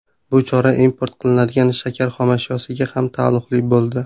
Bu chora import qilinadigan shakar xomashyosiga ham taalluqli bo‘ldi.